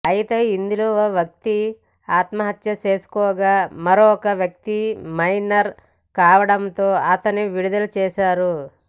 అయితే ఇందులో ఒక వ్యక్తి ఆత్మహత్య చేసుకోగా మరొక వ్యక్తి మైనర్ కావడంతో అతన్ని విడుదల చేశారు